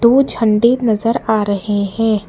उ झंडे नजर आ रहे हैं।